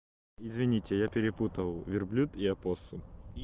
извините я перепутал верблюд и опоссум